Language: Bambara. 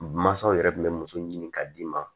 Mansaw yɛrɛ tun bɛ muso ɲini ka d'i ma